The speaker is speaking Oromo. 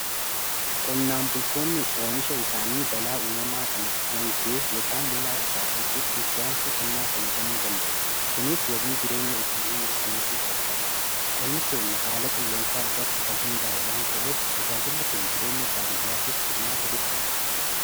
qonnaan bultoonnis oomisha isaanii balaa uumamaa kan akka hoongee yookaan lolaa irraa eequuf inshuraansii qonnaa fayyadamuu danda'u. kunis wabii jireenya isaanii mirkaneessuuf gargaara. qonni keenya haala qilleensaa irratti kan hundaa'e waan ta'eef tajaajilli kun jireenya baadiyyaatiif furmaata guddaadha.